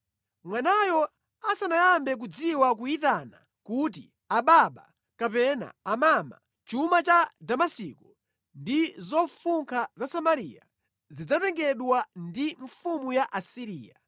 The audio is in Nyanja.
Mwanayo asanayambe kudziwa kuyitana kuti, ‘Ababa’ kapena ‘Amama’ chuma cha Damasiko ndi zofunkha za Samariya zidzatengedwa ndi mfumu ya ku Asiriya.”